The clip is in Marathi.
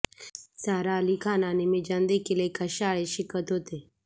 सारा अली खान आणि मीजानदेखील एकाच शाळेत शिकत होते